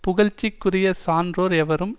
புகழ்ச்சிக்குரிய சான்றோர் எவரும்